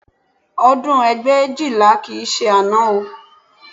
Ọdún ẹgbẹ̀éjìlá kì í ṣe àná o